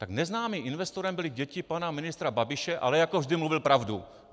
Tak neznámým investorem byly děti pana ministra Babiše, ale jako vždy, mluvil pravdu.